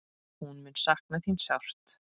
Hún mun sakna þín sárt.